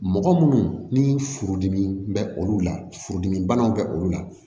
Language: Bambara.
Mɔgɔ munnu ni furudimi bɛ olu la furudimibanaw bɛ olu la